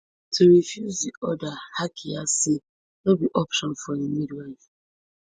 to refuse di order hakiya say no be option for a midwife